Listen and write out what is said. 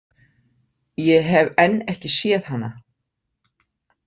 Ég hef enn ekki séð hana.